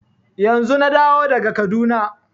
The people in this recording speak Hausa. Yanzun na dawo daga Kaduna.